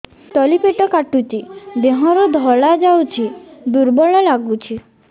ତଳି ପେଟ କାଟୁଚି ଦେହରୁ ଧଳା ଯାଉଛି ଦୁର୍ବଳ ଲାଗୁଛି